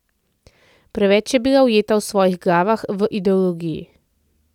Preveč je bila ujeta v svojih glavah, v ideologiji.